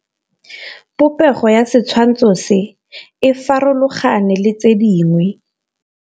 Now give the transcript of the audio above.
Popêgo ya setshwantshô se, e farologane le tse dingwe.